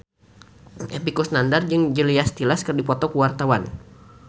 Epy Kusnandar jeung Julia Stiles keur dipoto ku wartawan